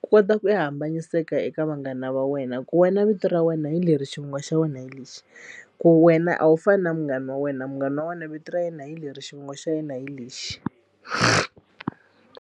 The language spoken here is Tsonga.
ku kota ku ya hambanyiseka eka vanghana a va wena ku wena vito ra wena hi leri xivongo xa wena hi lexi ku wena a wu fani na munghana wa wena munghana wa wena vito ra yena hi leri xivongo xa yena hi lexi.